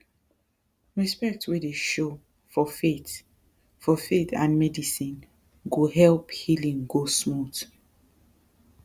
respect wey dey show for faith for faith and medicine go help healing go smooth